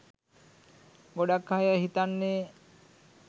ගොඩක් අය හිතන්නේ